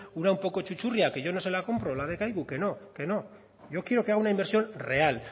una un poco chuchurría que yo no se la compro la de kaiku que no yo quiero que haga una inversión real